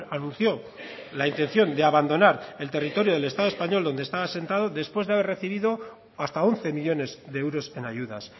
anunció la intención de abandonar el territorio del estado español donde está asentado después de haber recibido hasta once millónes de euros en ayudas